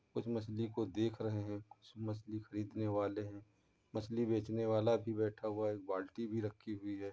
कुछ मछली को देख रहे है कुछ मछली खरीदने वाले है। मछली बेचने वाला भी बैठा हुआ है एक बाल्टी भी रखी हुई है।